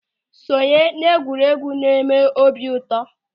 Ị sonye n'egwuregwu na-eme m obi ụtọ.